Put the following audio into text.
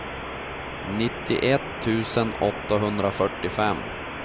nittioett tusen åttahundrafyrtiofem